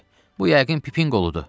Bu yəqin Pipin qoludur.